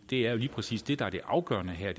det er jo lige præcis det der er det afgørende her